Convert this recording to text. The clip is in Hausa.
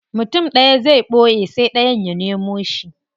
Mutum daya zai boye sai dayan ya nemo shi.